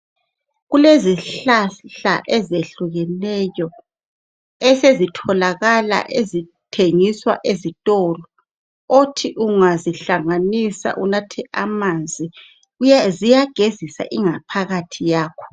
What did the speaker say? Kulezihlahla ezehlukeneyo esezitholakala ezithengiswa ezitolo othi ungazihlanganisa unathe amanzi ziyagezisa ingaphakathi yakho.